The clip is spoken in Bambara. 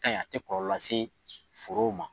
A kaɲi a tɛ kɔlɔlɔ lase forow ma.